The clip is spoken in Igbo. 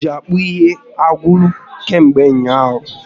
Mmanụ oji akpụ ihe agwụla kamgbe ụnyaahụ